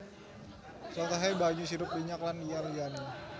Contohé banyu sirup minyak lan liya liyane